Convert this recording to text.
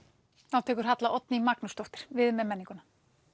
þá tekur Halla Oddný Magnúsdóttir við með menninguna